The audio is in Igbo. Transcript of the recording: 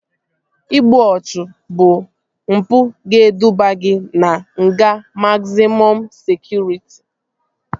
İgbu ọchụ bụ mpụ ga-eduba gị na nga mazịmọm sekụritị